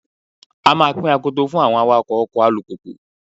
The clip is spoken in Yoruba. A máa pín akoto fún àwọn awakọ́ ọkọ̀ alùpùpù.